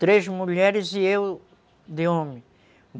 Três mulheres e eu de homem.